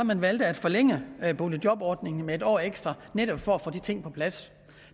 man valgte at forlænge boligjobordningen med en år ekstra netop for at få de ting på plads